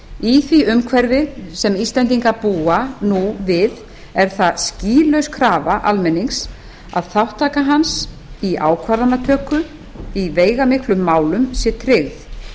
í því umhverfi sem íslendingar búa nú við er það skýlaus krafa almennings að þátttaka hans í ákvarðanatöku í veigamiklum málum sé tryggð